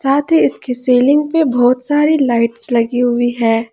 साथ ही इसकी सीलिंग पर बहुत सारी लाइट्स लगी हुई है।